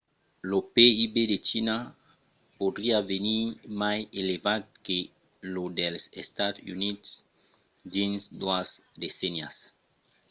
lo pib de china podriá venir mai elevat que lo dels estats units dins doas decennias